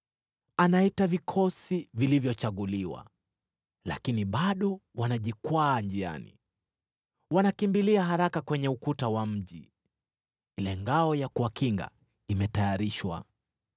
Anaita vikosi vilivyochaguliwa, lakini bado wanajikwaa njiani. Wanakimbilia haraka kwenye ukuta wa mji, ile ngao ya kuwakinga imetayarishwa.